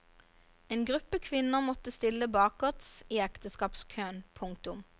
En gruppe kvinner måtte stille bakerts i ekteskapskøen. punktum